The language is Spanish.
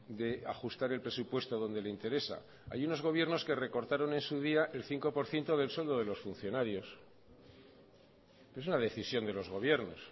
de ajustar el presupuesto donde le interesa hay unos gobiernos que recortaron en su día el cinco por ciento del sueldo de los funcionarios es una decisión de los gobiernos